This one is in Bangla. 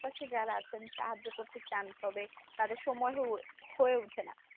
পাশে যারা আছেন সাহায্য করতে চান তবে তাদের সময় হয়~ হয়ে উঠে না